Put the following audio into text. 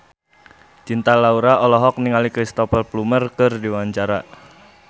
Cinta Laura olohok ningali Cristhoper Plumer keur diwawancara